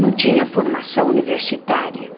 Não tinha formação universitária.